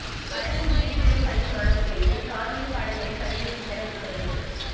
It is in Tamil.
அரசு உதவி பெறும் பள்ளி மாணவா்களுக்கு காணொலி பாடங்களை பதிவேற்றித் தர உத்தரவு